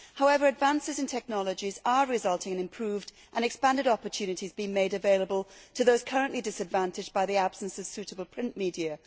However, advances in technology are resulting in improved and expanded opportunities being made available to those currently disadvantaged by the absence of suitable print media.